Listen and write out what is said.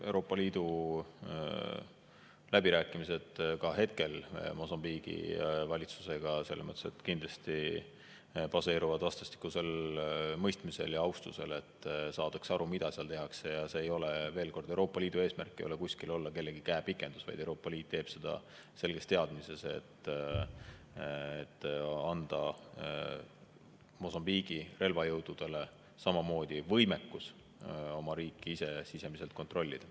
Euroopa Liidu läbirääkimised ka hetkel Mosambiigi valitsusega selles mõttes kindlasti baseeruvad vastastikusel mõistmisel ja austusel, saadakse aru, mida seal tehakse, ja veel kord, Euroopa Liidu eesmärk ei ole kuskil olla kellegi käepikendus, vaid Euroopa Liit teeb seda selges teadmises, et anda Mosambiigi relvajõududele samamoodi võimekus oma riiki ise sisemiselt kontrollida.